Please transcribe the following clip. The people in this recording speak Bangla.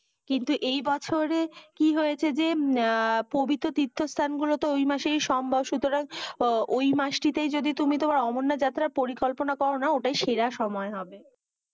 কিন্তু এই বছরে কি হয়েছে যে, পবিত্র তীর্থস্থানগুলোতে ঐ মাসেই সম্ভব সুতরাং ঐ মাসটিতেই যদি তুমি তোমার অমরনাথ যাত্রার পরিকল্পনা কর না ওটাই সেরা সময় হবে।